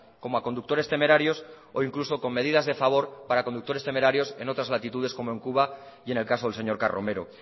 como a conductores temerarios o incluso con medidas de favor para conductores temerarios en otras latitudes como en cuba y en el caso del señor carromero